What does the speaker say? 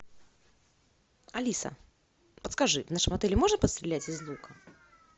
алиса подскажи в нашем отеле можно пострелять из лука